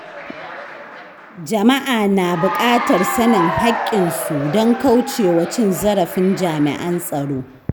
Jama’a na buƙatar sanin haƙƙinsu don kauce wa cin zarafin jami’an tsaro.